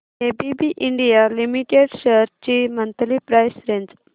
ABB India limited shares ची monthly price range